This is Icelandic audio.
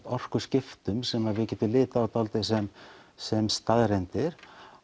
orkuskiptum sem við getum litið á dálítið sem sem staðreyndir